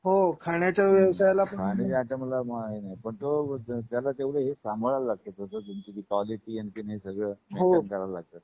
हो खाण्याच्या व्यवसायाला हम्म खाण्याच्या आयटमला मरण नाही. पण तो त्याला तेवढ हे सांभाळावा लागते. त्यांची जी क्वालिटी आणखीन हे सगळ हो लई सांभाळावा लागत.